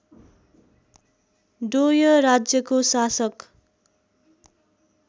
डोय राज्यको शासक